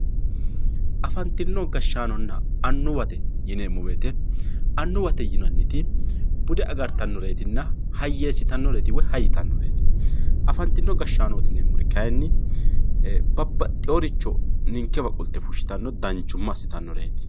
afantino gashshaanonna annuwate yineemmo woyiite annuwate yineemmoti bude agartannoreetinna hayyeessitanoreeti woy hay yitannoreeti afantino gashshaanooti yineemmori kayiinni babbaxxewooricho ninkewa qolte fushshitanno woy danchumma assitannoreeti.